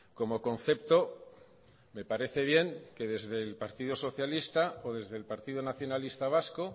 como concepto me parece bien que desde el partido socialista o desde el partido nacionalista vasco